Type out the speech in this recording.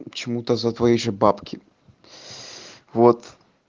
почему-то за твои же бабки вот